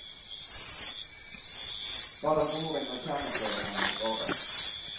Bare boring og kjerneprøver kan gi svaret.